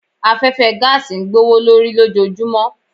Afẹ́fẹ́ gáàsì ń gbówó lórí lójojúmọ́.